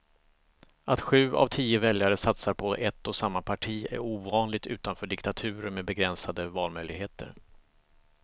Att sju av tio väljare satsar på ett och samma parti är ovanligt utanför diktaturer med begränsade valmöjligheter.